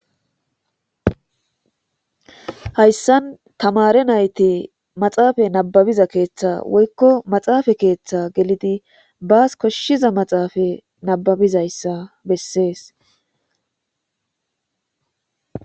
Hayssan tamare nayti maxaafay nababiza keeththa woykko maxaafa keeththa gelidi baas koshshiza maxaafa nababizayssa bessees.